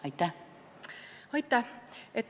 Aitäh!